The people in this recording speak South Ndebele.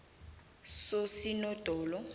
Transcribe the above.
sosinondolo